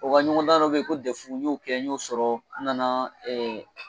O ka ɲɔgɔnda dɔ bɛ yen ko n y'o kɛ n y'o sɔrɔ n nana ɛ